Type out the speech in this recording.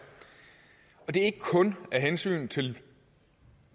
og det er ikke kun af hensyn til